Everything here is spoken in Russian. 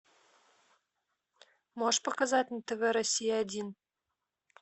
можешь показать на тв россия один